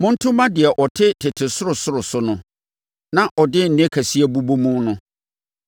monto mma deɛ ɔte tete soro soro so no, na ɔde nne kɛseɛ bobɔ mu no.